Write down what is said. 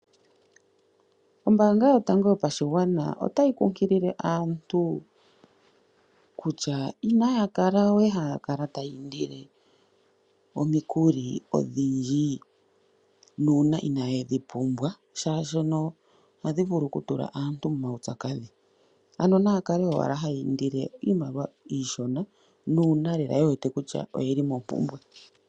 Ombaanga yotango yopashigwana otayi kunkilile aantu kutya inaya kala we haya kala taya indile omikuli odhindji nuuna inaye dhi pumbwa, oshoka ohadhi vulu okutula aantu muupyakadhi. Naya kale owala haya indile iimaliwa iishona nuuna ye wete lela kutya oye li mompumbwe.